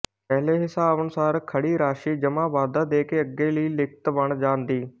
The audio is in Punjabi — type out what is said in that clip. ਪਹਿਲੇ ਹਿਸਾਬ ਅਨੁਸਾਰ ਖੜੀ ਰਾਸ਼ੀ ਜਮ੍ਹਾਂ ਵਾਧਾ ਦੇਕੇ ਅੱਗੇ ਲਈ ਲਿਖਤ ਬਣ ਜਾਂਦੀ